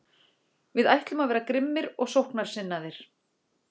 Við ætlum að vera grimmir og sóknarsinnaðir.